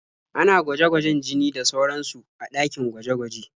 Ana gwaje-gwajen jini da sauransu a ɗakin gwaje-gwaje.